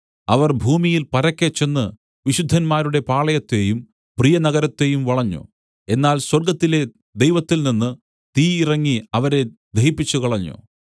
അവർ ഭൂമിയിൽ പരക്കെ ചെന്ന് വിശുദ്ധന്മാരുടെ പാളയത്തെയും പ്രിയനഗരത്തെയും വളഞ്ഞു എന്നാൽ സ്വർഗ്ഗത്തിലെ ദൈവത്തിൽനിന്ന് തീ ഇറങ്ങി അവരെ ദഹിപ്പിച്ചുകളഞ്ഞു